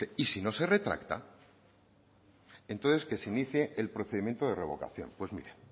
dice y si no se retracta entonces que se inicie el procedimiento de revocación pues mire